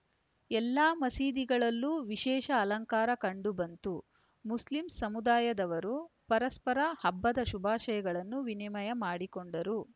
ಎಲ್ಲಾ ಮಸೀದಿಗಳಲ್ಲೂ ವಿಶೇಷ ಅಲಂಕಾರ ಕಂಡು ಬಂತು ಮುಸ್ಲಿಂ ಸಮುದಾಯದವರು ಪರಸ್ಪರ ಹಬ್ಬದ ಶುಭಾಶಯಗಳನ್ನು ವಿನಿಮಯ ಮಾಡಿಕೊಂಡರು